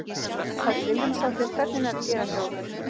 Hödd Vilhjálmsdóttir: Hvernig er að gera hjá ykkur?